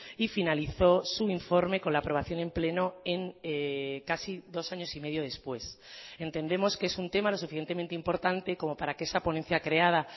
y finalizó su informe con la aprobación en pleno en casi dos años y medio después entendemos que es un tema lo suficientemente importante como para que esa ponencia creada